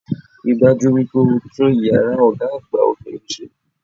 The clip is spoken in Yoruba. Rí dájú wípé o tún iyàrá Ògá àgbà obìnrin sé